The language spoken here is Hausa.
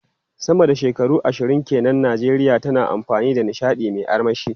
Sama da shekaru ashirin ke nan, Najeriya tana da fannin nishadi mai armashi.